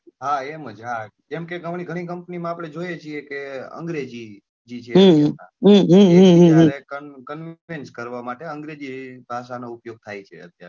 હા એમજ હા, જેમ કે ઘઉં ની ઘણી company માં આપને જોઈએ છે અંગ્રેજી જી છે તો ત્યારે convince કરવા માટે અંગ્રેજી ભાષા નો ઉપયોગ થાય છે અત્યાર માં તો,